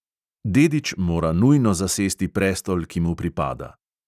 Dedič mora nujno zasesti prestol, ki mu pripada.